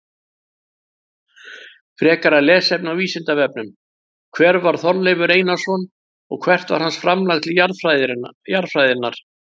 Frekara lesefni á Vísindavefnum: Hver var Þorleifur Einarsson og hvert var hans framlag til jarðfræðinnar?